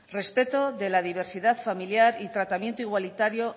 respeto de la diversidad familiar y tratamiento igualitario